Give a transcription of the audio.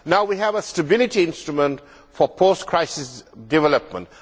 Now we have a stability instrument for post crisis development.